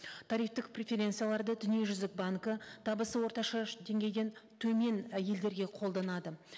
тарифтік преференцияларды дүниежүзілік банкі табысы орташа деңгейден төмен і елдерге қолданады